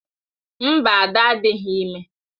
Mba, Ada adịghị ime.